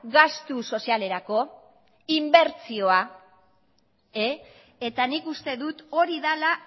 gastu sozialerako inbertsioa eta nik uste dut hori dela